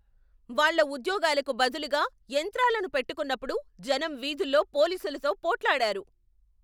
వాళ్ళ ఉద్యోగాలకు బదులుగా యంత్రాలను పెట్టుకున్నప్పుడు జనం వీధుల్లో పోలీసులతో పోట్లాడారు.